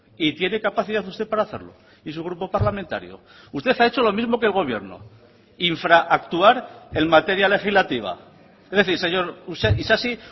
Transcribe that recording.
y tiene capacidad usted para hacerlo y su grupo parlamentario usted ha hecho lo mismo que el gobierno infraactuar en materia legislativa es decir señor isasi